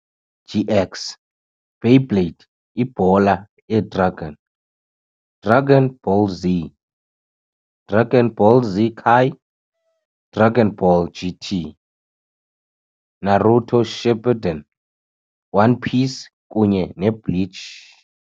GX, Beyblade, Ibhola yedragini, Dragonball Z, Dragonball Z Kai, Dragonball GT, Naruto Shippuden, One Piece kunye neBleach.